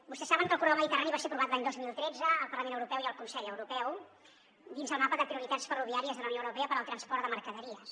vostès saben que el corredor mediterrani va ser aprovat l’any dos mil tretze al parlament europeu i el consell europeu dins el mapa de prioritats ferroviàries de la unió europea per al transport de mercaderies